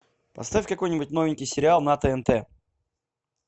поставь какой нибудь новенький сериал на тнт